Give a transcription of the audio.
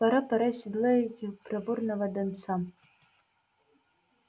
пора пора седлать проворного донца